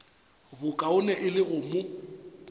bokaone e le go mo